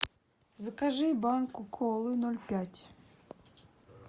закажи банку колы ноль пять